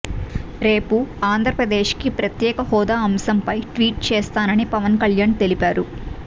రేపు ఆంధ్రప్రదేశ్ కి ప్రత్యేక హోదా అంశంపై ట్వీట్ చేస్తానని పవన్ కళ్యాణ్ తెలిపారు